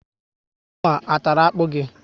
Anụ a tàrà akpu gị?